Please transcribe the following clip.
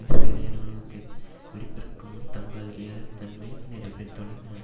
இஸ்ரேலிய இராணுவதத்தின் வெடிப்பிற்கு முன் தங்கள் ஏலத்தன்மை நிரூபித்துள்ளன